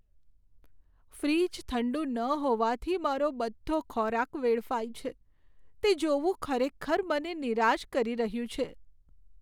Fridge ઠંડુ ન હોવાથી મારો બધો ખોરાક વેડફાય છે તે જોવું ખરેખર મને નિરાશ કરી રહ્યું છે.